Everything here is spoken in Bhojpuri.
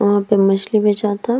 वहाँ पे मछली बेचाता।